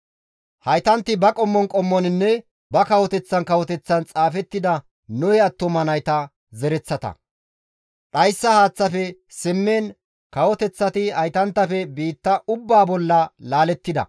Haytanti ba qommon qommoninne ba kawoteththan kawoteththan xaafettida Nohe attuma nayta zereththata; dhayssa haaththafe simmiin kawoteththati haytanttafe biitta ubbaa bolla laalettida.